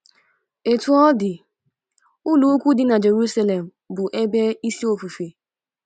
Otú ọ ọ dị, ụlọukwu dị na Jerusalem bụ ebe isi ofufe.